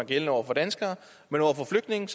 gældende over for danskere men